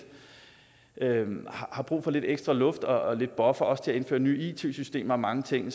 har brug for lidt ekstra luft og en buffer også til at indføre nye it systemer og mange ting